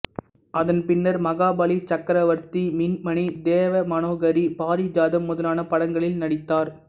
அதன் பின்னர் மகாபலி சக்கரவர்த்தி மின்மினி தேவமனோகரி பாரிஜாதம் முதலான படங்களில் நடித்தார்